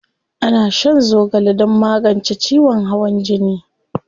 Ana shan zogale don magance ciwon hawan jini.